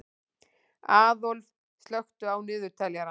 Aðólf, slökktu á niðurteljaranum.